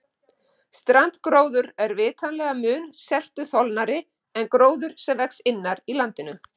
Strandgróður er vitanlega mun seltuþolnari en gróður sem vex innar í landinu.